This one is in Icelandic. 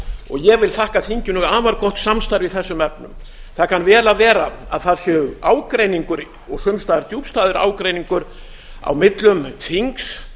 ég vil þakka þinginu afar gott samstarf í þessum efnum það kann vel að vera að það sé ágreiningur og sums staðar djúpstæður ágreiningur á millum þings